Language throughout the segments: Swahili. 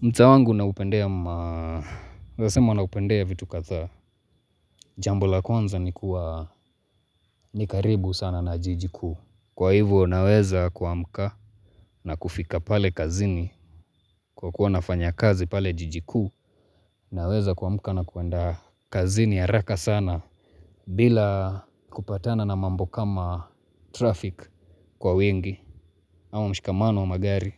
Mtaa wangu naupendea ma naezasema naupendea vitu kadhaa. Jambo la kwanza ni kuwa ni karibu sana na jiji kuu. Kwa hivyo naweza kuamka na kufika pale kazini. Kwa kuwa nafanya kazi pale jiji kuu. Naweza kuamka na kuenda kazini ya raka sana. Bila kupatana na mambo kama traffic kwa wengi. Ama mshikamano wa magari.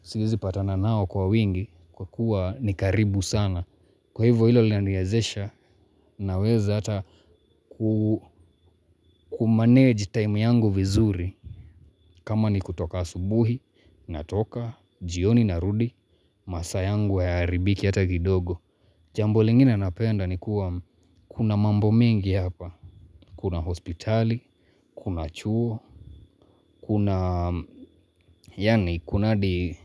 Siwezi patana nao kwa wingi. Kwa kuwa ni karibu sana. Kwa hivyo ilo linaniwezesha naweza ata kumanage time yangu vizuri. Kama ni kutoka asubuhi, natoka, jioni narudi, masaa yangu hayaharibiki ata kidogo. Jambo lingine napenda ni kuwa kuna mambo mingi hapa. Kuna hospitali, kuna chuo, kuna yaani kuna hadi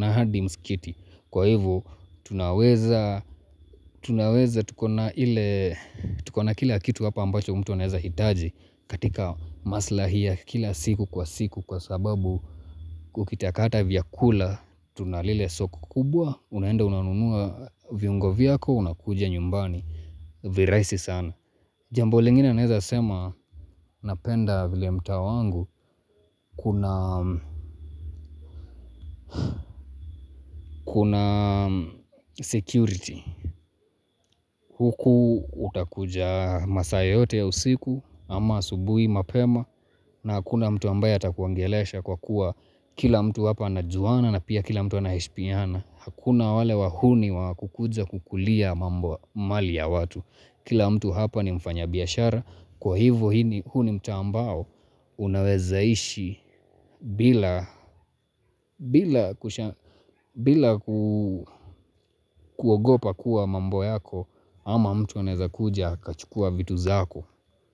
hadi mskiti. Kwa hivo tunaweza tunaweza tuko na ile tuko na kila kitu hapa ambacho mtu anaeza hitaji katika maslahi ya kila siku kwa siku kwa sababu kukitakata vyakula tuna lile soko kubwa unaenda unanunua viungo vyako unakuja nyumbani virahisi sana. Jambo lingine naeza sema napenda vile mtaa wangu kuna security. Huku utakuja masaa yoyote ya usiku ama asubuhi mapema na hakuna mtu ambaye atakuongelesha kwa kuwa kila mtu hapa anajuana na pia kila mtu anaheshpiana. Hakuna wale wahuni wa kukuja kukulia mambo mali ya watu. Kila mtu hapa ni mfanya biashara kwa hivo hii ni huu ni mtaa ambao unaweza ishi bila kuogopa kuwa mambo yako ama mtu anaeza kuja akachukua vitu zako.